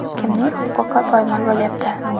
Kimning huquqi poymol bo‘lyapti?